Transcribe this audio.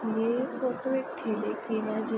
ये फोटो एक ठेले की है जि --